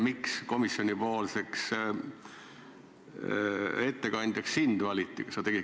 Miks komisjonipoolseks ettekandjaks sind valiti?